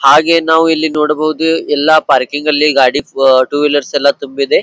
ಹಾಗೆ ನಾವು ಇಲ್ಲಿ ನೋಡಬಹುದು ಎಲ್ಲ ಪಾರ್ಕಿಂಗ್ ಲ್ಲಿ ಗಾಡಿ ಟೂ ವೀಲರ್ಸ್ ಎಲ್ಲ ತುಂಬಿದೆ.